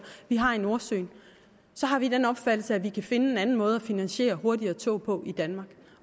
vi har i nordsøen har vi den opfattelse at vi kan finde en anden måde at finansiere hurtigere tog på i danmark